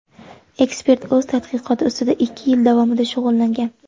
Ekspert o‘z tadqiqoti ustida ikki yil davomida shug‘ullangan.